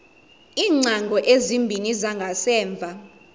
iingcango ezimbini zangasemva